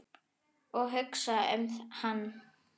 Og hugsa um hann.